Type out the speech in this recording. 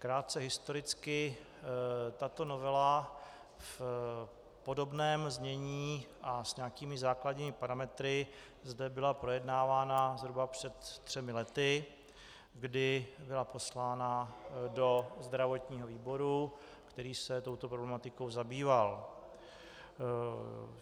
Krátce historicky: Tato novela v podobném znění a s nějakými základními parametry zde byla projednávána zhruba před třemi lety, kdy byla poslána do zdravotního výboru, který se touto problematikou zabýval.